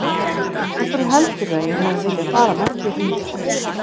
Af hverju heldurðu að ég hafi viljað fara með þér hingað?